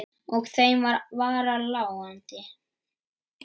Og þeim var varla láandi.